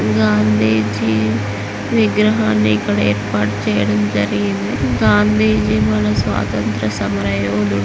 గాంధీజీ విగ్రహాన్ని ఇక్కడ ఏర్పాటు చేయడం జరిగింది. గాంధీజీ మన స్వాతంత్ర సమరయోధుడు --